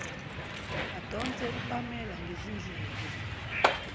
adonse upamela ngezindlebe